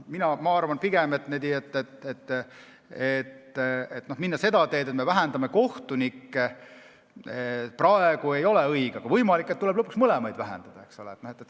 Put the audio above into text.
Ma arvan, et minna seda teed, et me vähendame kohtunike arvu, ei ole praegu õige, aga võimalik, et tuleb lõpuks mõlemate arvu vähendada.